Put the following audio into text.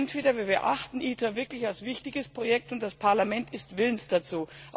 Entweder wir betrachten ITER wirklich als wichtiges Projekt, und das Parlament ist willens dazu.